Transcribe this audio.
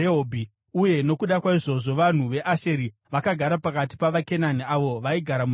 uye nokuda kwaizvozvo vanhu veAsheri vakagara pakati pavaKenani avo vaigara munyika.